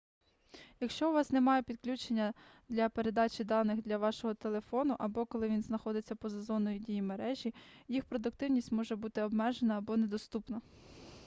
якщо у вас немає підключення для передачі даних для вашого телефону або коли він знаходиться поза зоною дії мережі їх продуктивність може бути обмежена або недоступна